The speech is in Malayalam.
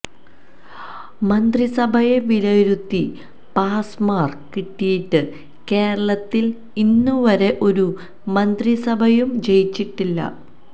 മന്ത്രിസഭയെ വിലയിരുത്തി പാസ് മാര്ക്ക് കിട്ടിയിട്ട് കേരളത്തില് ഇന്നുവരെ ഒരു മന്ത്രിസഭയും ജയിച്ചിട്ടില്ല